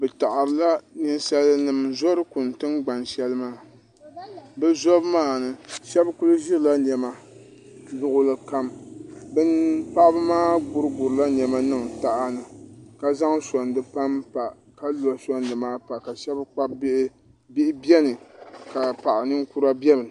ninsal nim n zori kuni tingbani shɛli maa bi zobu maa ni shab kuli ʒirila niɛma luɣuli kam paɣaba maa gurigurila niɛma niŋ taha ni ka zaŋ soŋdi panpa ka lo soŋdi maa pa ka shab kpabi bihi bihi biɛni ka paɣa ninkura biɛni